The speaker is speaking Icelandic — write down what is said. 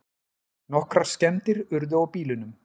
Nokkrar skemmdir urðu á bílunum